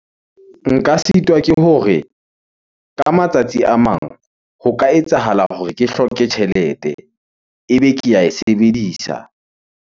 Nka sitwa ke hore ka matsatsi a mang ho ka etsahala hore ke hloke tjhelete ebe ke ae sebedisa.